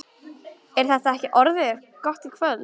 Er þetta ekki orðið gott í kvöld?